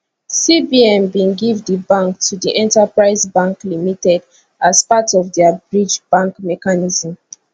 cbn bin give di bank to di enterprise bank limited as part of dia bridge bank mechanism